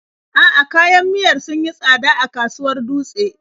A'a, kayan miyar sun yi tsada a kasuwar Dutse.